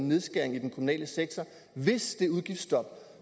nedskæringer i den kommunale sektor hvis det udgiftsstop